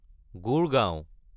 Gurgaon